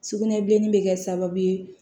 Sugunɛbilenni bɛ kɛ sababu ye